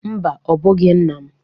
Mba, ọ bụghị nna m.